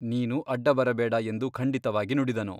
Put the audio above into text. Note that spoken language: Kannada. ನೀನು ಅಡ್ಡಬರಬೇಡ ಎಂದು ಖಂಡಿತವಾಗಿ ನುಡಿದನು.